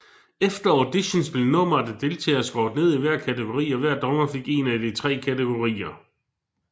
Efter auditions blev nummeret af deltagere skåret ned i hver kategori og hver dommer fik en af de tre kategorier